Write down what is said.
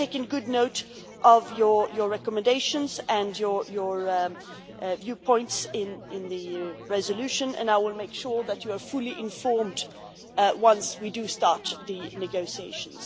We have taken good note of your recommendations and your viewpoints in the resolution, and I will make sure that you are fully informed once we start the negotiations.